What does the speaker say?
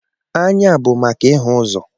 Anya bụ maka ịhụ ụzọ.